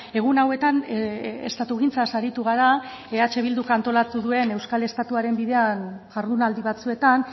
egun hauetan estatugintzaz aritu gara eh bilduk antolatu duen euskal estatuaren bidean jardunaldi batzuetan